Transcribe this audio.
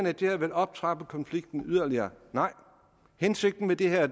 at det her vil optrappe konflikten yderligere nej hensigten med det her